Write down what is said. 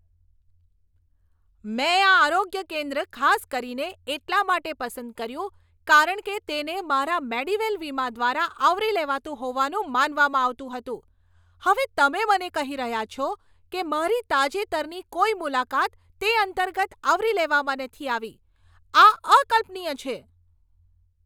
મેં આ આરોગ્ય કેન્દ્ર ખાસ કરીને એટલા માટે પસંદ કર્યું કારણ કે તેને મારા મેડીવેલ વીમા દ્વારા આવરી લેવાતું હોવાનું માનવામાં આવતું હતું. હવે તમે મને કહી રહ્યા છો કે મારી તાજેતરની કોઈ મુલાકાત તે અંતર્ગત આવરી લેવામાં નથી આવી? આ અકલ્પનીય છે!